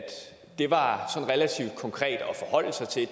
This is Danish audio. det var relativt konkret at forholde sig til